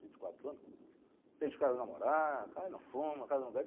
Vinte e quatro anos, o cara namorar, o cara não fuma, o cara não bebe.